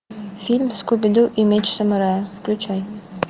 фильм скуби ду и меч самурая включай